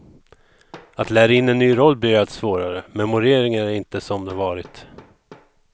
Att lära in en ny roll blir allt svårare, memoreringen är inte som den varit.